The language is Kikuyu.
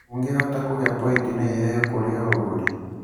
ũngĩhota kũgĩa pointi na iheo kũrĩ o ũgũri.